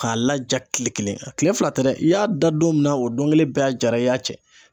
K'a laja kile kelen a kile fila tɛ dɛ i y'a da don min na o don kelen bɛɛ a jara i y'a cɛ